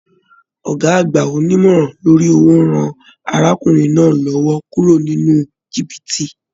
Ọgá àgbà onímọ̀rán lórí owó rán arákùnrin náà l'ọwọ kúrò nínú jìbìtì.